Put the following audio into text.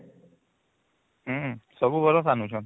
ହୁଁ ସବୁ ବରଷ ଆନୁଚନ